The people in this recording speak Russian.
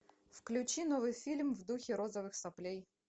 включи новый фильм в духе розовых соплей